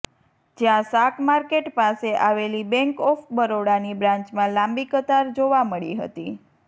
જ્યાં શાક માર્કેટ પાસે આવેલી બેન્ક ઓફ બરોડાની બ્રાન્ચમાં લાંબી કતાર જોવા મળી હતી